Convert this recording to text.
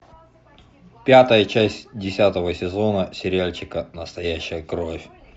пятая часть десятого сезона сериальчика настоящая кровь